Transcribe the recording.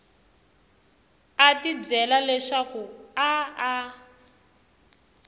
a tibyela leswaku a a